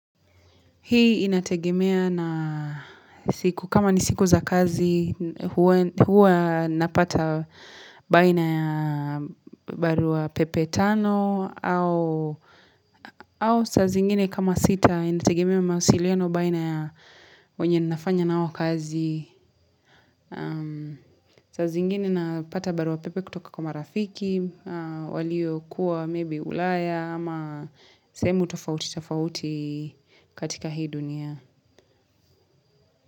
Hii inategemea na siku kama ni siku za kazi huwa napata baina ya barua pepe tano au saa zingine kama sita inategemea mawasiliano baina ya wenye nafanya nao kazi. So zingine napata barua pepe kutoka kama rafiki, walio kuwa maybe ulaya ama sehemu tofauti tofauti katika hii dunia.